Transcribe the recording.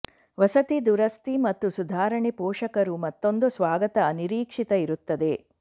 ವಸತಿ ದುರಸ್ತಿ ಮತ್ತು ಸುಧಾರಣೆ ಪೋಷಕರು ಮತ್ತೊಂದು ಸ್ವಾಗತ ಅನಿರೀಕ್ಷಿತ ಇರುತ್ತದೆ